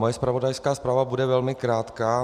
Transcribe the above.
Moje zpravodajská zpráva bude velmi krátká.